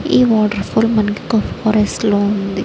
ఈ waterfall మనకి కో ఫారెస్ట్ ల ఉంది.